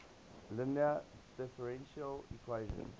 linear differential equation